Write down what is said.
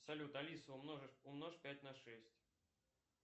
салют алиса умножь пять на шесть